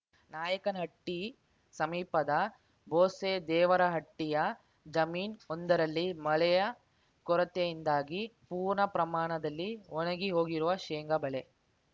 ನಾಯಕನಹಟ್ಟಿಸಮೀಪದ ಬೋಸೇ ದೇವರಹಟ್ಟಿಯ ಜಮೀನ್ ಒಂದರಲ್ಲಿ ಮಳೆಯ ಕೊರತೆಯಿಂದಾಗಿ ಪೂರ್ಣ ಪ್ರಮಾಣದಲ್ಲಿ ಒಣಗಿ ಹೋಗಿರುವ ಶೇಂಗಾ ಬೆಳೆ